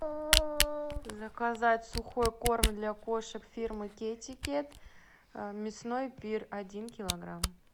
заказать сухой корм для кошек фирмы китикет мясной пир один килограмм